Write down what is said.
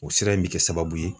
O sira in bɛ kɛ sababu ye